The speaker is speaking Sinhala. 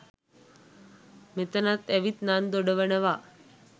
මෙතනත් ඇවිත් නන් දොඩවනව.